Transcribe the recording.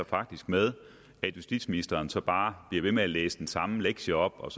faktisk med at justitsministeren så bare bliver ved med at læse den samme lektie op og